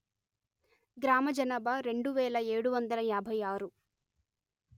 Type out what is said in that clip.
గ్రామ జనాభా రెండు వెలు ఏడు వందలు యాభై ఆరు